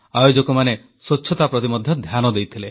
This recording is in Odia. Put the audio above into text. ଆୟୋଜକମାନେ ସ୍ୱଚ୍ଛତା ପ୍ରତି ମଧ୍ୟ ଧ୍ୟାନ ଦେଇଥିଲେ